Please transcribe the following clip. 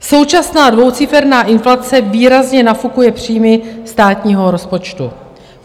Současná dvouciferná inflace výrazně nafukuje příjmy státního rozpočtu.